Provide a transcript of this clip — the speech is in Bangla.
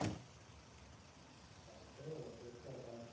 তাইতো দেখো আবার